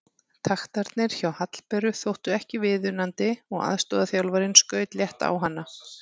Taktarnir hjá Hallberu þóttu ekki viðunandi og aðstoðarþjálfarinn skaut létt á hana.